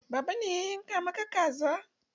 Baba ne ya yanka maka kaza.